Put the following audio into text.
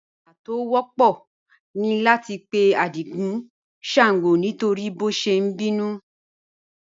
Àwàdà tó wọ̀pọ̀ ní láti pè̩ Ádìgún ṣàngó nítorí bí ó ṣé n bínú